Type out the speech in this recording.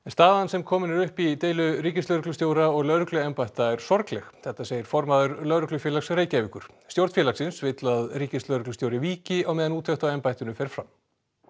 staðan sem komin er upp í deilu ríkislögreglustjóra og lögregluembætta er sorgleg þetta segir formaður Lögreglufélags Reykjavíkur stjórn félagsins vill að ríkislögreglustjóri víki á meðan úttekt á embættinu fer fram